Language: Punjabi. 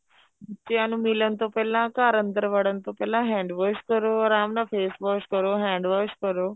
ਬੱਚਿਆ ਨੂੰ ਮਿਲਣ ਤੋਂ ਪਹਿਲਾਂ ਘਰ ਅੰਦਰ ਵੜਨ ਤੋਂ ਪਹਿਲਾਂ hand wash ਕਰੋ ਆਰਾਮ ਨਾਲ face wash ਕਰੋ hand wash ਕਰੋ